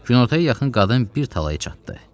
Günortaya yaxın qadın bir talaya çatdı.